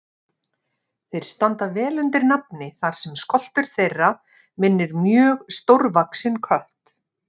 Þeir standa vel undir nafni þar sem skoltur þeirra minnir mjög stórvaxinn kött.